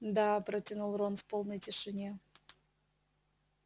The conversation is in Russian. да протянул рон в полной тишине